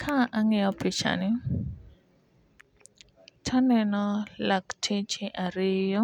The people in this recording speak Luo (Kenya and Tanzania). Ka ang'iyo picha ni taneno lakteche ariyo